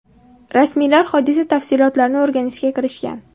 Rasmiylar hodisa tafsilotlarini o‘rganishga kirishgan.